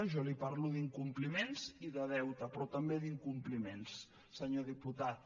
jo li parlo d’incompliments i de deute però també d’incompliments senyor diputat